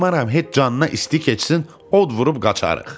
Qoymaram heç canına isti keçsin, od vurub qaçaarıq.